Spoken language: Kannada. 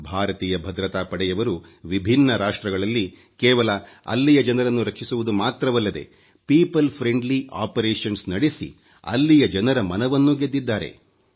ಭಾರತೀಯ ಭದ್ರತಾ ಪಡೆಯವರು ವಿಭಿನ್ನ ರಾಷ್ಟ್ರಗಳಲ್ಲಿ ಕೇವಲ ಅಲ್ಲಿ ಜನರನ್ನು ರಕ್ಷಿಸುವುದು ಮಾತ್ರವಲ್ಲದೆ ಜನಹಿತ ಕಾರ್ಯ ಪ್ರಕ್ರಿಯೆ ನಡೆಸಿ ಅಲ್ಲಿಯ ಜನರ ಮನವನ್ನೂ ಗೆದ್ದಿದ್ದಾರೆ